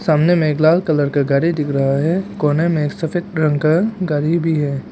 सामने मे एक लाल कलर का गाड़ी दिख रहा है कोने में एक सफेद रंग का गाड़ी भी है।